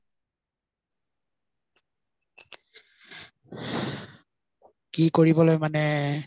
কি কৰিবলৈ মানে